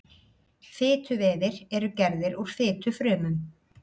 fituvefir eru gerðir úr fitufrumum